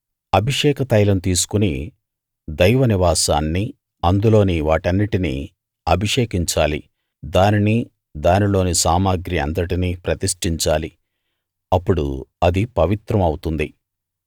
అభిషేక తైలం తీసుకుని దైవ నివాసాన్నీ అందులోని వాటన్నిటినీ అభిషేకించాలి దానినీ దానిలోని సామగ్రి అంతటినీ ప్రతిష్టించాలి అప్పుడు అది పవిత్రం అవుతుంది